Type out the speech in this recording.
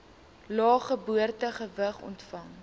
lae geboortegewig ontvang